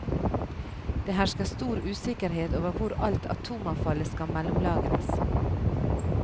Det hersker stor usikkerhet over hvor alt atomavfallet skal mellomlagres.